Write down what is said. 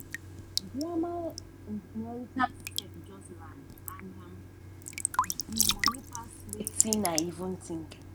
grandma inheritance check just land um and di money pass wetin i even think.